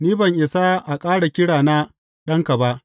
Ni ban isa a ƙara kira na ɗanka ba.